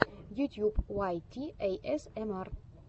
ютьюб уайт ти эйэсэмар